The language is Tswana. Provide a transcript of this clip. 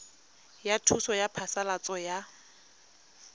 ya thuso ya phasalatso ya